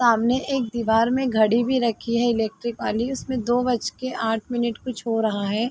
सामने एक दिवार में घड़ी भी रखी है इलेक्ट्रिक वाली उसमे दो बज के आठ मिनट कुछ हो रहा है।